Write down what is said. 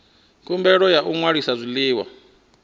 khumbelo ya u ṅwalisa zwiḽiwa